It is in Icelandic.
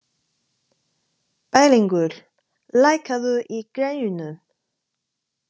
Bæringur, lækkaðu í græjunum.